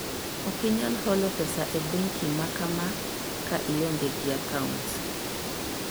Ok inyal holo pesa e bengi ma kama ka ionge gi akaunt.